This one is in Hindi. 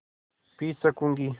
पी सकँूगी